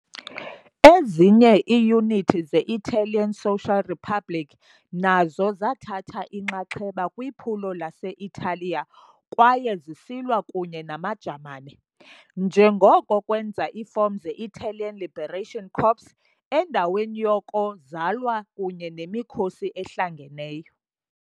Ezinye iiyunithi ze -Italian Social Republic nazo zathatha inxaxheba kwiphulo lase-Italiya kwaye zisilwa kunye namaJamani, njengoko kwenza iifom ze- Italian Liberation Corps endaweni yoko zalwa kunye nemikhosi ehlangeneyo.